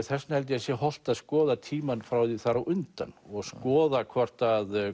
þess vegna held ég að sé hollt að skoða tímann frá því þar á undan og skoða hvort að